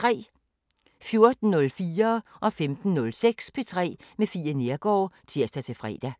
14:04: P3 med Fie Neergaard (tir-fre) 15:06: P3 med Fie Neergaard (tir-fre)